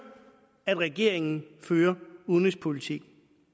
at regeringen fører udenrigspolitik